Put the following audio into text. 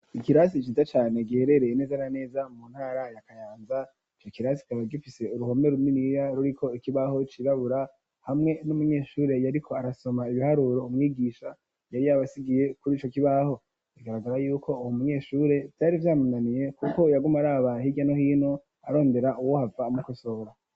Ikirasi ciza cyane giherereye neza na neza mu ntara ya kayanza ico kirasi kaba gifise uruhome ruminiya ruriko ikibaho cirabura hamwe n'umunyeshure yariko arasoma ibiharuro umwigisha yari yabasigiye kuri ico kibaho, bigaragara yuko uwo munyeshure vyari vyamananiye kuko yaguma araba hira no hino arondera uwohava amokosobora.